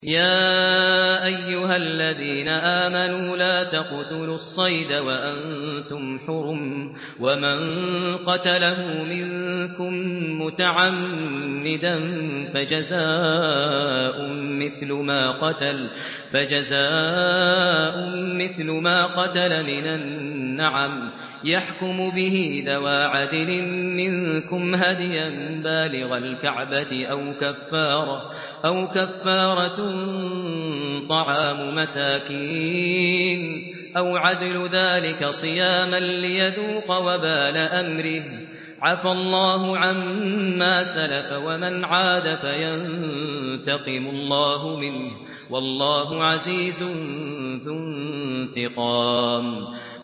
يَا أَيُّهَا الَّذِينَ آمَنُوا لَا تَقْتُلُوا الصَّيْدَ وَأَنتُمْ حُرُمٌ ۚ وَمَن قَتَلَهُ مِنكُم مُّتَعَمِّدًا فَجَزَاءٌ مِّثْلُ مَا قَتَلَ مِنَ النَّعَمِ يَحْكُمُ بِهِ ذَوَا عَدْلٍ مِّنكُمْ هَدْيًا بَالِغَ الْكَعْبَةِ أَوْ كَفَّارَةٌ طَعَامُ مَسَاكِينَ أَوْ عَدْلُ ذَٰلِكَ صِيَامًا لِّيَذُوقَ وَبَالَ أَمْرِهِ ۗ عَفَا اللَّهُ عَمَّا سَلَفَ ۚ وَمَنْ عَادَ فَيَنتَقِمُ اللَّهُ مِنْهُ ۗ وَاللَّهُ عَزِيزٌ ذُو انتِقَامٍ